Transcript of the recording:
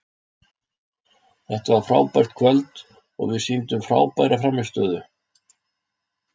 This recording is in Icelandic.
Þetta var frábært kvöld og við sýndum frábæra frammistöðu.